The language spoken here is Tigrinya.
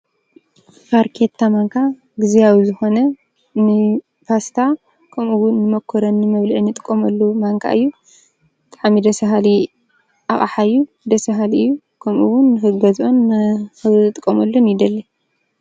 ፋርኬታ ማንካ ጊዝያዊ ዝኾነ ንፓስታ ከምኡውን ንሞኮረኒ መብልዒ እንጥቀመሉ ማንካ እዩ፡፡ ብጣዕሚ ደስ በሃሊ ኣቕሓ እዩ፡፡ ደስ በሃሊ እዩ ከምኡ ውን ንኽገዝኦን ንክጥቀመሉን ይደሊ፡፡